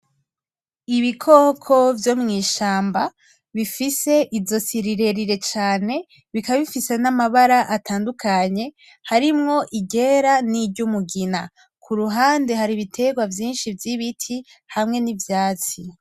Ibikoko vyo mw'ishamba, bifise izosi rirerire cane, bikaba bifise n' amabara atandukanye ,harimwo iryera n' iryumugina; kuruhande har'ibiterwa vyinshi vy'ibiti hamwe nivy'ivyatsi.